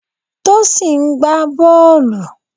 Tosin ń gbá bọ́ọ̀lù.